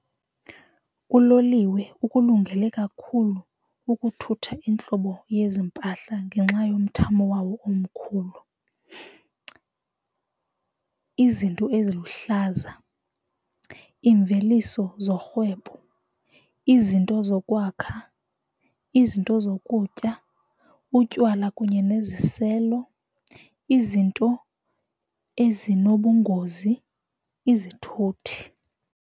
Uloliwe ukulungele kakhulu ukuthutha iintlobo yezimpahla ngenxa yomthamo wawo omkhulu, izinto eziluhlaza imveliso zorhwebo izinto zokwakha izinto zokutya utywala kunye neziselo izinto ezinobungozi izithuthi.